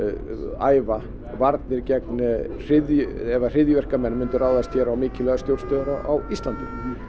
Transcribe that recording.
æfa varnir gegn ef að hryðjuverkamenn myndu ráðast hér á mikilvægar stjórnstöðvar á Íslandi